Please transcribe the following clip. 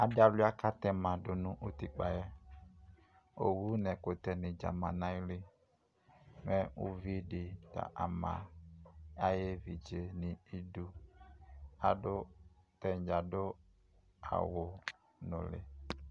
Adɩ alʋɩa kʋ atɛma dʋ nʋ utikpǝ yɛ Owu nʋ ɛkʋtɛnɩ dza ma nʋ ayili Mɛ uvi dɩ ta ama ayʋ evidze nʋ idu Adʋ atanɩ dza adʋ awʋnʋlɩ